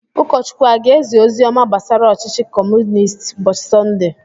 Ụkọchukwu a ga-ezi ozi ọma gbasara ọchịchị Kọmunistị ụbọchị Sọnde?